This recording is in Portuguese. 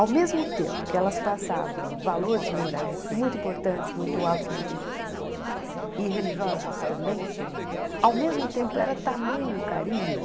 Ao mesmo tempo que elas passavam valores morais muito importantes, muito altos muito e religiosos também, ao mesmo tempo era tamanho o carinho.